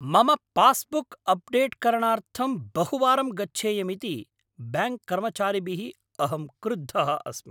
मम पास्बुक् अप्डेट्करणार्थं बहुवारं गच्छेयमिति ब्याङ्क्कर्मचारिभिः अहं क्रुद्धः अस्मि।